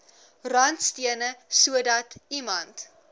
randstene sodat iemand